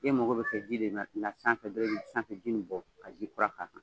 mɔgɔ bɛ ji de na sanfɛ dɔrɔn i bɛ sanfɛji nin bɔ ka ji kura k'a kan.